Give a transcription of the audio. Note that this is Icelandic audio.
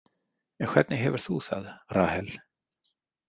En hvernig hefur þú það, Rahel?